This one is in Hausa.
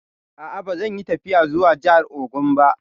A'a, ba zan yi tafiya zuwa jahar Ogun ba